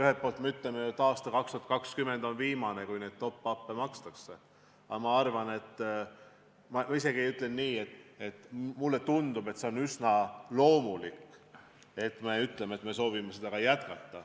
Ühelt poolt me ütleme, et aasta 2020 on viimane, kui top-up'i makstakse, aga mulle tundub, et on üsna loomulik, kui me ütleme, et me soovime seda jätkata.